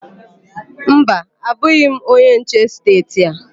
Mba, abụghị m onye nche n'esteeti a.